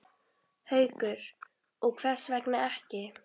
Haukur: Og hvers vegna ekki?